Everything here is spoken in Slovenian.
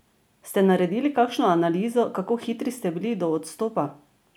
Ste naredili kakšno analizo, kako hitri ste bili do odstopa?